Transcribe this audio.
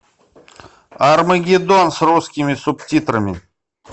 армагеддон с русскими субтитрами